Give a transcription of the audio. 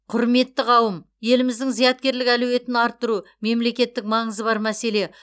құрметті қауым еліміздің зияткерлік әлеуетін арттыру мемлекеттік маңызы бар мәселе